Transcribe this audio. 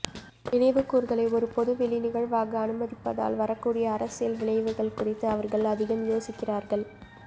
நினைவுகூர்தலை ஒரு பொதுவெளி நிகழ்வாக அனுமதிப்பதால் வரக்கூடிய அரசியல் விளைவுகள் குறித்து அவர்கள் அதிகம் யோசிக்கிறார்கள்